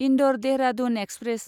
Indore Dehradun express